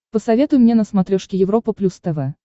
посоветуй мне на смотрешке европа плюс тв